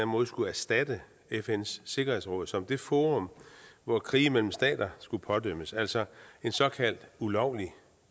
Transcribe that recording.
måde skulle erstatte fns sikkerhedsråd som det forum hvor krige mellem stater skulle pådømmes altså at en såkaldt ulovlig